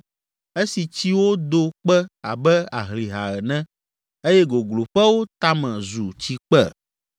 esi tsiwo do kpe abe ahlihã ene eye gogloƒewo tame zu tsikpe?